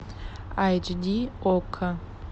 айч ди окко